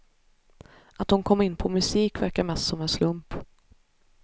Att hon kom in på musik verkar mest som en slump.